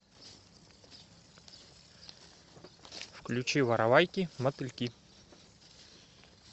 включи воровайки мотыльки